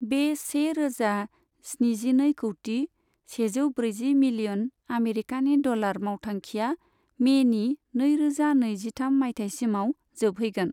बे से रोजा स्निजिनै कौटि, सेजौ ब्रैजि मिलियन आमेरिकानि डलार मावथांखिआ मेनि नैरोजा नैजिथाम माइथायसिमाव जोबहैगोन।